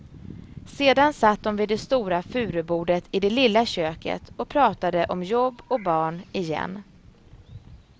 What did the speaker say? Sedan satt de vid det stora furubordet i det lilla köket och pratade om jobb och barn, igen.